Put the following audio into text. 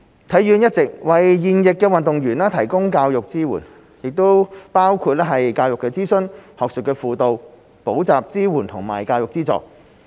體院一直為現役運動員提供教育支援，包括教育諮詢、學術輔導、補習支援和教育資助。